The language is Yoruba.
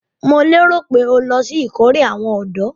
Mo lérò pé o lọ sí ìkórè àwọn ọ̀dọ́?